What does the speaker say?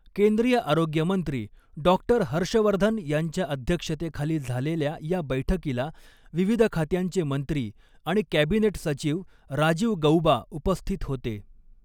केंद्रीय आरोग्यमंत्री डॉ हर्ष वर्धन यांच्या अध्यक्षतेखाली झालेल्या या बैठकीला विविध खात्यांचे मंत्री आणि कॅबिनेट सचिव राजीव गऊबा उपस्थित होते.